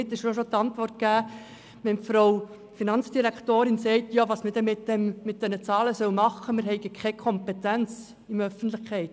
Damit ist auch die mögliche Frage der Finanzdirektorin beantwortet, was man denn mit diesen Zahlen tun solle, man habe ja keine Kompetenz in der Öffentlichkeit.